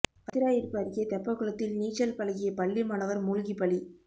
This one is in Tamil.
வத்திராயிருப்பு அருகே தெப்பக்குளத்தில் நீச்சல் பழகிய பள்ளி மாணவா் மூழ்கி பலி